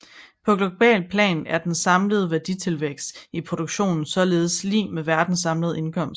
På globalt plan er den samlede værditilvækst i produktionen således lig med verdens samlede indkomst